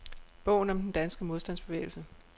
Bogen om den danske modstandsbevægelse.